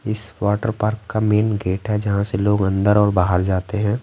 इस water park का main gate है जहाँ से लोग अंदर और बाहर जाते हैं।